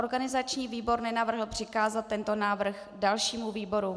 Organizační výbor nenavrhl přikázat tento návrh dalšímu výboru.